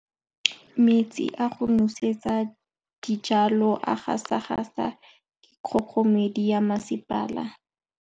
Metsi a go nosetsa dijalo a gasa gasa ke kgogomedi ya masepala.